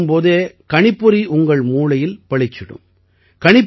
Intel எனும் போதே கணிப்பொறி உங்கள் மூளையில் பளிச்சிடும்